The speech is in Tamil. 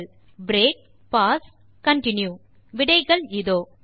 பிரேக் பாஸ் கன்டின்யூ விடைகள் இதோ 1